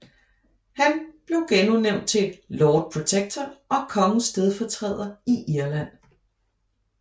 Han blev genudnævnt til Lord Protector og kongens stedfortræder i Irland